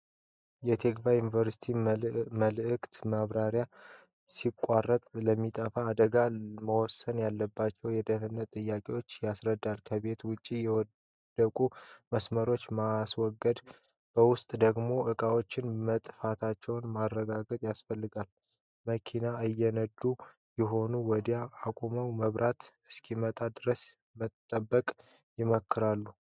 የ ቲክቫህ ኢትዮጵያ መልዕክት መብራት ሲቋረጥ ለሚፈጠሩ አደጋዎች መወሰድ ያለባቸውን የደህንነት ጥንቃቄዎች ያስረዳል። ከቤት ውጭ የወደቁ መስመሮችን ማስወገድ፣ በውስጥ ደግሞ ዕቃዎች መጥፋታቸውን ማረጋገጥ ያስፈልጋል። መኪና እየነዱ ከሆነ ወዲያውኑ አቁሞ መብራት እስኪመጣ ድረስ መጠበቅ ይመከራል።